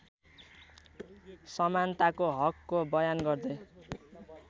समानताको हकको बयान गर्दै